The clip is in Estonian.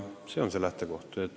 See on see lähtekoht.